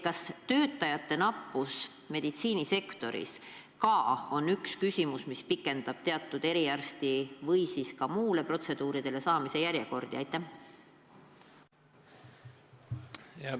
Kas töötajate nappus meditsiinisektoris on üks probleem, mis pikendab eriarsti juurde või mõnele protseduurile saamise järjekordi?